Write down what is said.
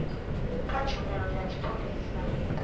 kha tshumelo ya tshipholisa ya